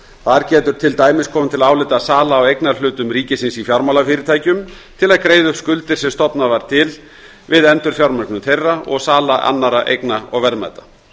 þar getur til dæmis komið til álita sala á eignarhlutum ríkisins í fjármálafyrirtækjum til að greiða upp skuldir sem stofnað var til við endurfjármögnun þeirra og sala annarra eigna og verðmæta